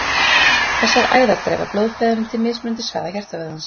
Þessar æðar dreifa blóðflæðinu til mismunandi svæða hjartavöðvans.